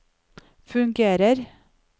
fungerer